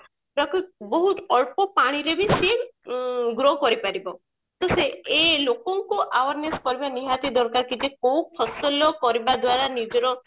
ଯାହାକୁ ବହୁତ ଅଳ୍ପ ପାଣିରେ ବି ସିଏ ଉଁ grow କରିପାରିବ ତ ସେ ଏ ଲୋକଙ୍କ awareness କରିବା ନିହାତି ଦରକାର କି କୋଉ ଫସଲ କରିବା ଦ୍ଵାର ନିଜର